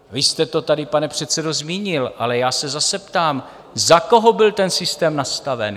Vy jste to tady, pane předsedo, zmínil, ale já se zase ptám, za koho byl ten systém nastaven?